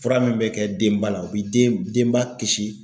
Fura min be kɛ denba la o bi den denba kisi